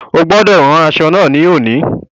O gbọ́dọ̀ rán aṣọ náà ní òní.